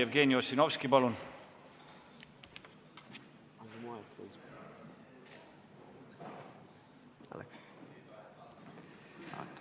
Jevgeni Ossinovski, palun!